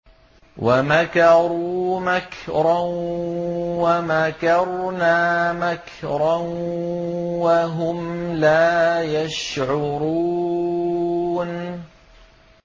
وَمَكَرُوا مَكْرًا وَمَكَرْنَا مَكْرًا وَهُمْ لَا يَشْعُرُونَ